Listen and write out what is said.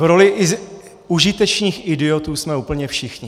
V roli užitečných idiotů jsme úplně všichni.